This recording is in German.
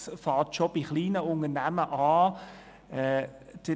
Es fängt schon bei kleinen Unternehmen an.